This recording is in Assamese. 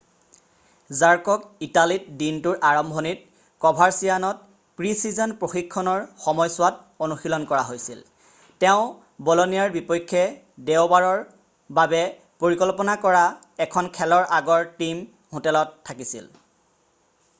জাৰ্কক ইটালীত দিনটোৰ আৰম্ভণিত ক'ভাৰচিয়ান'ত প্ৰি-ছিজন প্ৰশিক্ষণৰ সময়ছোৱাত অনুশীলন কৰা হৈছিল৷ তেওঁ ব'লনিয়াৰ বিপক্ষে দেওবাৰৰ বাবে পৰিকল্পনা কৰা এখন খেলৰ আগৰ টিম হোটেলত থাকিছিল৷